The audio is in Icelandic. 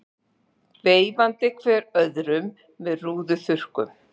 Veifandi hver öðrum með rúðuþurrkum.